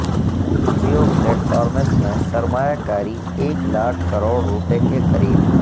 Jio platforms میں سرمایہ کاری ایک لاکھ کروڑ روپئے کے قریب